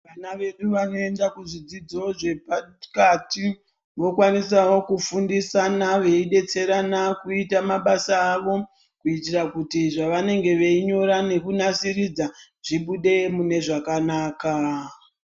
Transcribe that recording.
Vana vedu vanoenda kuzvidzidzo zvepakati vokwanisawo kufundisana veidetserana kuita mabasa avo kuitirakuti zvevanenge veinyora nekunasiridza zvibude zvakanaka.